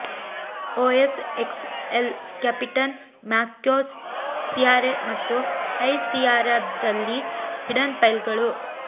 OS X El Capitan macOS Sierra ಮತ್ತು high ಸಿಯೆರಾದಲ್ಲಿ hidden ಫೈಲ್ಗಳು